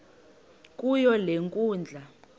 kuyo le nkundla